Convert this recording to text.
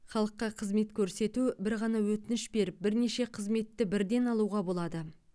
халыққа қызмет көрсету бір ғана өтініш беріп бірнеше қызметті бірден алуға болады